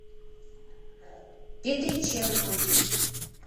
петриченко